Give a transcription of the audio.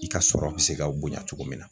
I ka sɔrɔ bɛ se ka bonya cogo min na.